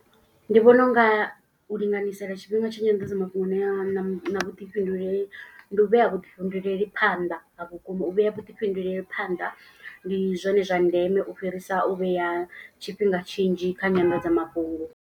Ndi vhona u nga u linganyisela tshifhinga tsha nyanḓadzamafhungo ya na vhuḓifhinduleli. Ndi u vhea vhuḓifhinduleli phanḓa a vhukuma u vhea vhuḓifhinduleli phanḓa. Ndi zwone zwa ndeme u fhirisa u vhea tshifhinga tshinzhi kha nyanḓadzamafhungo.